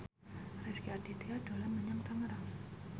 Rezky Aditya dolan menyang Tangerang